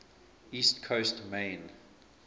east coast maine